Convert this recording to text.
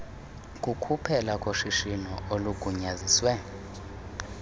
kukuphela koshishino olugunyaziswe